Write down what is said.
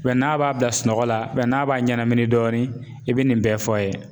n'a b'a bila sunɔgɔ la n'a b'a ɲɛnamini dɔɔnin i bɛ nin bɛɛ fɔ a ye.